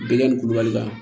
Denkɛ ni kulubalila